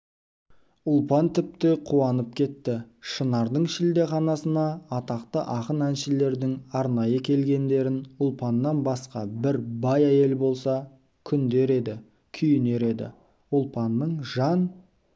ұлпан тіпті қуанып кетті шынардың шілдеханасына атақты ақын-әншілердің арнай келгендерін ұлпаннан басқа бір бай әйел болса күндер еді күйінер еді ұлпанның жан